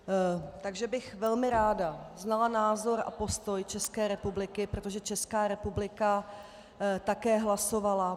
Takže bych velmi ráda znala názor a postoj České republiky, protože Česká republika také hlasovala.